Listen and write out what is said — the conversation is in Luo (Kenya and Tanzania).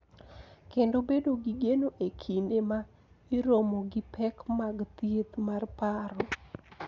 Kendo bedo gi geno e kinde ma iromo gi pek mag thieth mar paro.